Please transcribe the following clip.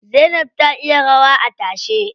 Zainab ta iya rawa a tashe.